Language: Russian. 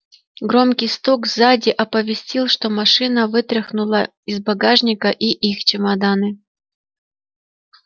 громкий стук сзади оповестил что машина вытряхнула из багажника и их чемоданы